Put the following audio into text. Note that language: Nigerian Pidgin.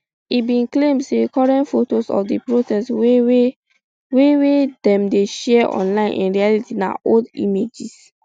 e bin claim say current fotos of di protests wey wey dem dey share online in reality na old images